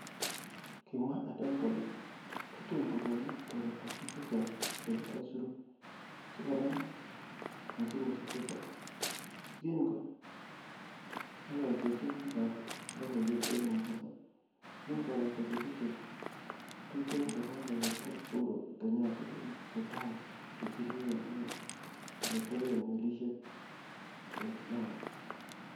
Kimwa Adan kole "Tatun kekonu toretosiek chechang chebo aisurut sikonam mosigosiek chechang,"Yekin ko ngololsechin bikab logoiwek en Mombasa yekin kobata betusiek tuten kokakoyabta Uhuru Kenyatta gorik chetai che kiruen en ele teben melisieken Lamu.